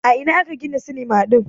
A ina aka gina sinima din?